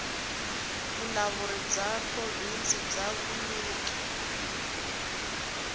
vulawuri bya provhinsi bya vunyiki